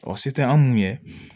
Ɔ se tɛ an mun ye